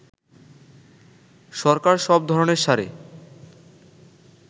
সরকার সব ধরণের সারে